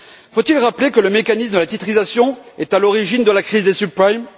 Faut il rappeler que le mécanisme de la titrisation est à l'origine de la crise des subprimes?